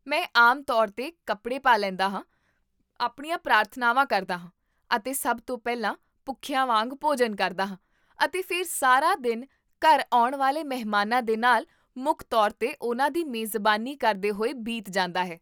ਮੈਂ ਆਮ ਤੌਰ 'ਤੇ ਕੱਪੜੇ ਪਾ ਲੈਂਦਾ ਹਾਂ, ਆਪਣੀਆਂ ਪ੍ਰਾਰਥਨਾਵਾਂ ਕਰਦਾ ਹਾਂ, ਅਤੇ ਸਭ ਤੋਂ ਪਹਿਲਾਂ ਭੁੱਖਿਆਂ ਵਾਂਗ ਭੋਜਨ ਕਰਦਾ ਹਾਂ, ਅਤੇ ਫਿਰ ਸਾਰਾ ਦਿਨ ਘਰ ਆਉਣ ਵਾਲੇ ਮਹਿਮਾਨਾਂ ਦੇ ਨਾਲ, ਮੁੱਖ ਤੌਰ 'ਤੇ ਉਨ੍ਹਾਂ ਦੀ ਮੇਜ਼ਬਾਨੀ ਕਰਦੇ ਹੋਏ ਬੀਤ ਜਾਂਦਾ ਹੈ